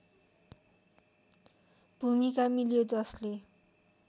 भूमिका मिल्यो जसले